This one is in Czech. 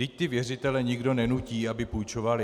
Vždyť ty věřitele nikdo nenutí, aby půjčovali.